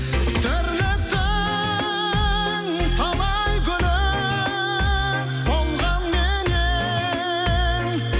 тірліктің талай гүлі солғанменен